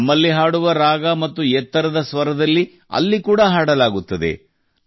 ನಮ್ಮಲ್ಲಿ ಹಾಡುವ ರಾಗ ಮತ್ತು ಎತ್ತರದ ಸ್ವರದಲ್ಲಿ ಅಲ್ಲಿ ಕೂಡಾ ಹಾಡಲಾಗುತ್ತದೆ